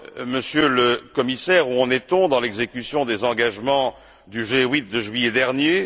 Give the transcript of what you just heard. Monsieur le Commissaire, où en est on dans l'exécution des engagements du G8 de juillet dernier?